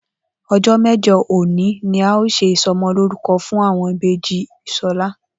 O̩jó̩ mé̩jo̩ òní ni a óò s̩e ìso̩mo̩lórúko̩ fún àwo̩n ìbejì S̩o̩lá